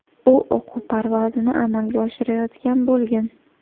U o‘quv parvozini amalga oshirayotgan bo‘lgan.